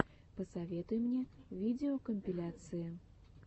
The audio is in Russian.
посоветуй мне видеокомпиляции